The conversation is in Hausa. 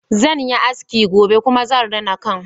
Zan yi aski gobe kuma zan rina kan